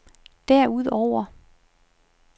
derudover